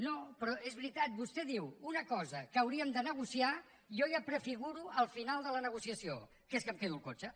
no però és veritat vostè diu una cosa que hauríem de negociar i jo ja prefiguro el final de la negociació que és que em quedo el cotxe